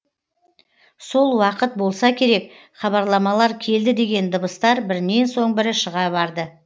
сол уақыт болса керек хабарламалар келді деген дыбыстар бірінен соң бірі шыға барды